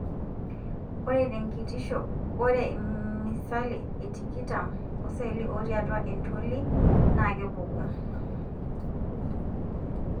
ore tekitisho ore misali e tikitam oseli otii atua entolii na kepuku.(iseli e leukemia)